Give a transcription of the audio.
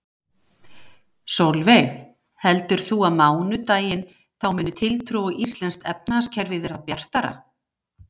Sólveig: Heldur þú að á mánudaginn, þá muni tiltrú á íslenskt efnahagskerfi verða bjartara?